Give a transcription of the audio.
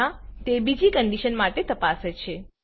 અન્યથા તે બીજી કન્ડીશન માટે તપાસે છે